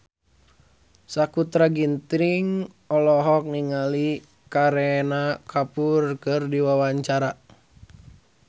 Sakutra Ginting olohok ningali Kareena Kapoor keur diwawancara